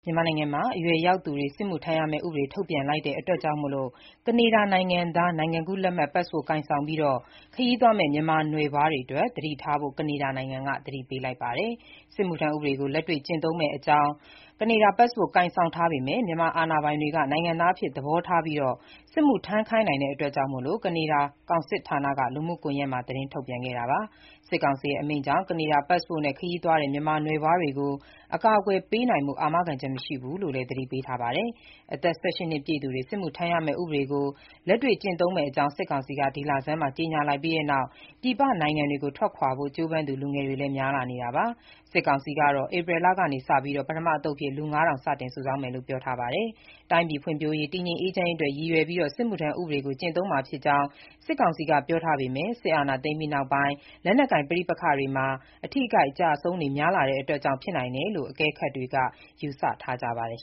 မြန်မာနိုင်ငံမှာ အရွယ်ရောက်သူတွေ စစ်မှုထမ်းရမဲ့ ဥပဒေ ထုတ်ပြန်လိုက်တာကြောင့် ကနေဒါနိုင်ငံသား နိုင်ငံကူးလက်မှတ်ပတ်စ်ပို့ကိုင်ဆောင်ပြီး ခရီးသွားမဲ့ မြန်မာနွယ်ဖွားတွေ သတိထားဖို့ ကနေဒါနိုင်ငံက သတိပေးလိုက်ပါတယ်။ စစ်မှုထမ်းဥပဒေကို လက်တွေ့ကျင့်သုံးမဲ့ အမိန့်ကြောင့် ကနေဒါပတ်စ်ပို့ ကိုင်ဆောင်ထားပေမဲ့ မြန်မာအာဏာပိုင်တွေက နိုင်ငံသားအဖြစ် သဘောထားပြီး စစ်မှုထမ်းခိုင်းနိုင်ကြောင်း ကနေဒါ ကောင်စစ်ဌာနက လူမှုကွန်ယက်မှာ သတင်းထုတ်ပြန်ခဲ့တာပါ။ စစ်ကောင်စီရဲ့ အမိန့်ကြောင့် ကနေဒါပတ်စ်ပို့နဲ့ ခရီးသွားတဲ့ မြန်မာနွယ်ဖွားတွေကို အကာအကွယ်ပေးနိုင်ဖို့ အာမခံချက်မရှိဘူးလို့လည်း သတိပေးထားပါတယ်။ အသက် ၁၈ နှစ်ပြည့်သူတွေ စစ်မှုထမ်းရမဲ့ ဥပဒေကို လက်တွေ့ကျင့်သုံးမယ့်အကြောင်း စစ်ကောင်စီက ဒီလဆန်းမှာ ကြေညာလိုက်ပြီးနောက် ပြည်ပနိုင်ငံတွေကို ထွက်ခွာဖို့ ကြိုးပမ်းသူ လူငယ်တွေလည်း များလာနေတာပါ။ စစ်ကောင်စီကတော့ ဧပြီလကစ ပထမသုတ်အဖြစ် လူ ၅၀၀၀ စတင် စုဆောင်းမယ်လို့ ပြောပါတယ်။ တိုင်းပြည်ဖွံ့ဖြိုးရေး၊ တည်ငြိမ်အေးချမ်းရေးအတွက် ရည်ရွယ်ပြီး စစ်မှုထမ်းဥပဒေကို ကျင့်သုံးမှာဖြစ်ကြောင်း စစ်ကောင်စီက ပြောထားပေမဲ့ စစ်အာဏာသိမ်းပြီးနောက်ပိုင်း လက်နက်ကိုင် ပဋိပက္ခတွေမှာ အထိအခိုက်အကျအဆုံးတွေ များလာတာကြောင့် ဖြစ်နိုင်တယ်လို့ အကဲခတ်တွေက ယူဆထားကြပါတယ်